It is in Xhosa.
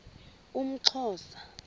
umxhosa